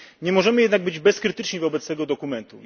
Nie możemy jednak być bezkrytyczni wobec tego dokumentu.